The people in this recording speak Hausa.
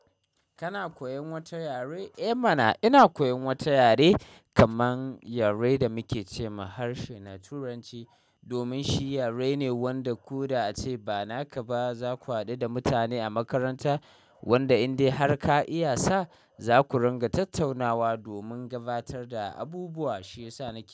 Kana koyan wata yare? Eh mana ina koyan wata yare kaman yare da muke ce ma harshe na turanci domin shi yare ne wanda ko da ace ba naka ba za ku haɗu da mutane a makaranta wanda in dai har ka iya sa za ku ringa tattaunawa domin gabatar da abubuwa shi yasa nake.